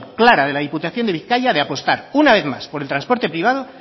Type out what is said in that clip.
clara de la diputación de bizkaia de apostar una vez más por el transporte privado